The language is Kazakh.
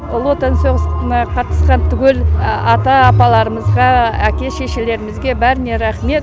ұлы отан соғысына қатысқан түгел ата апаларымызға әке шешелерімізге бәріне рахмет